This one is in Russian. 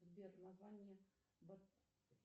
сбер название